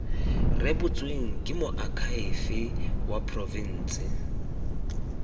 rebotsweng ke moakhaefe wa porofense